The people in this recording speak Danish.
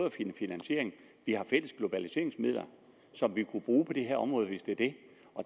at finde finansiering vi har fælles globaliseringsmidler som vi kunne bruge på det her område hvis det er det